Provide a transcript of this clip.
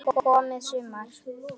Þá er loksins komið sumar.